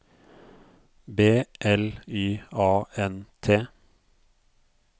B L Y A N T